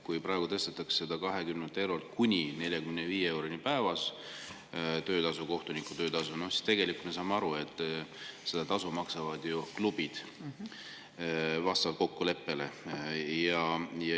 Kui praegu tõstetakse 20 eurolt kuni 45 euroni päevas seda kohtuniku töötasu, siis tegelikult me saame aru, et seda tasu maksavad klubid ju vastavalt kokkuleppele.